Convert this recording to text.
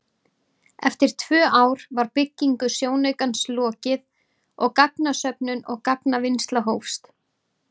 Eftir tvö ár var byggingu sjónaukans lokið og gagnasöfnun og gagnavinnsla hófst.